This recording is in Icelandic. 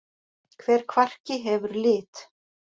Hver kvarki hefur lit.